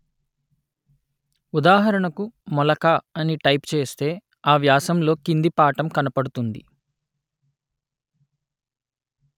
ఉదాహరణకు మొలక అని టైపు చేస్తే ఆ వ్యాసంలో కింది పాఠం కనపడుతుంది